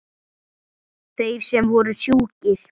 Þeir sem voru sjúkir.